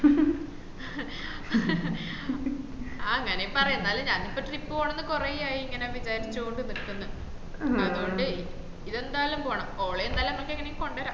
who ഹും ആ അങ്ങനേം പറയാം എന്നാലും ഞാന് ഇപ്പൊ trip പോണന്ന് കൊറേ ആയി ഇങ്ങനെ വിചാരിച്ചോണ്ട് നിക്കുന്ന അതോണ്ട് ഇതെന്തായാലും പോണം ഓളഎന്തായാലും അമ്മക്ക് എങ്ങനേം കൊണ്ടേരം